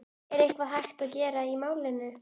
Er eitthvað hægt að gera í málinu?